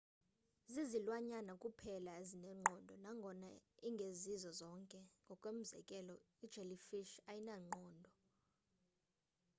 zizilwanyana kuphela ezinengqondo nangona ingezizo zonke; ngokomzekelo ijellyfish ayinayo ingqondo